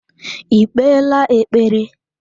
I kpeela ekpere?